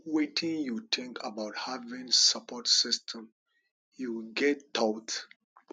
wetin you think about having support system you get thoughts